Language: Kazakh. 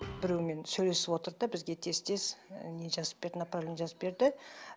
біреумен сөйлесіп отырды да бізге тез тез і не жазып берді направление жазып берді